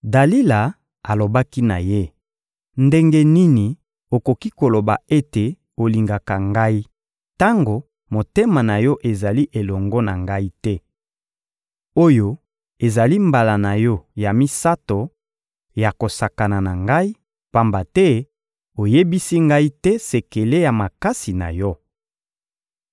Dalila alobaki na ye: «Ndenge nini okoki koloba ete olingaka ngai tango motema na yo ezali elongo na ngai te! Oyo ezali mbala na yo ya misato ya kosakana na ngai, pamba te oyebisi ngai te sekele ya makasi na yo.»